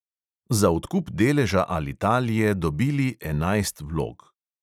Za odkup deleža alitalie dobili enajst vlog.